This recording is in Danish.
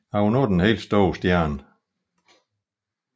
Han var nu den helt store stjerne